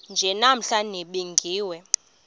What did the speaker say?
nje namhla nibingiwe